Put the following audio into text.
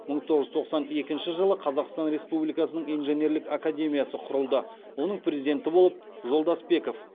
мың тоғыз жүз тоқсан екінші жылы қазақстан республикасының инженерлік академиясы құрылды оның президенті болып жолдасбеков